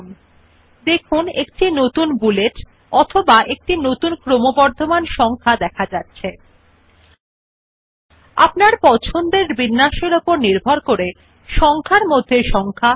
এখন Enter কি একটি বিবৃতি লিখে পরে আপনি যে একটি নতুন বুলেট পয়েন্ট অথবা একটি নতুন ক্রমবর্ধমান সংখ্যা নির্মিত হবে টিপুনNow press the Enter key after typing a statement you will see that a new bullet point or a new incremental number is created